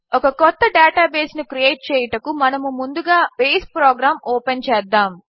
ఒక కొత్త డేటాబేస్ను క్రియేట్ చేయుటకు ముందుగా మనము బేస్ ప్రోగ్రాం ఓపెన్ చేద్దాము